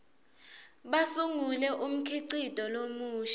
basungule umkhicito lomusha